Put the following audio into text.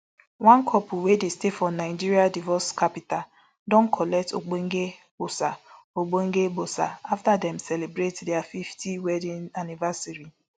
one couple wey dey stay for nigeria divorce capital don collect ogbonge gbosa ogbonge gbosa afta dem celebrate dia fifty wedding anniversary